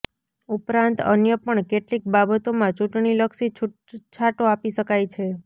ઉપરાંત અન્ય પણ કેટલીક બાબતોમાં ચૂંટણીલક્ષી છૂટછાટો આપી શકાય છે